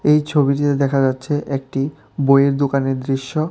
এই ছবিটিতে দেখা যাচ্ছে একটি বইয়ের দোকানের দৃশ্য।